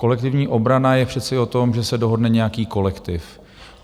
Kolektivní obrana je přece o tom, že se dohodne nějaký kolektiv.